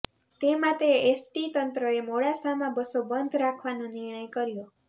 તે માટે એસટી તંત્રએ મોડાસામાં બસો બંદ રાખવાનો નિર્ણય કર્યો